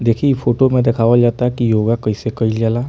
देखि इ फोटो में देखावल जाता की योगा कइसे कैल जाला |